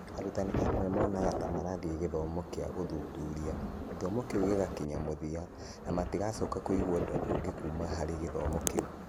Arutani amwe monaga ta marathiĩ gĩthomo kĩa ũthuthuria, gĩthomo kĩu gĩgakinya mũthia, na matigacoka kũigua ũndũ ũngĩ kuuma harĩ gĩthomo kĩu.